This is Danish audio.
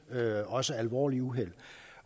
også alvorlige uheld